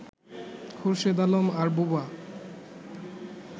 খোরশেদ আলম আর বোবা